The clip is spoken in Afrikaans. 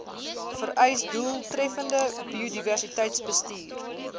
vereis doeltreffende biodiversiteitsbestuur